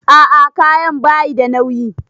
A'a kayan bayi da nauyi.